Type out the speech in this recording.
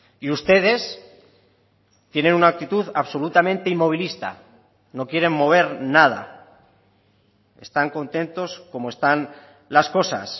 y ustedes tienen una actitud absolutamente inmovilista no quieren mover nada están contentos como están las cosas